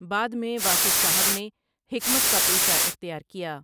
بعد میں واصف صاحب نے حکمت کا پیشہ اختیار کیا ۔